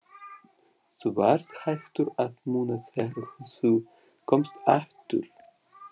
Þú varst hættur að muna þegar þú komst aftur.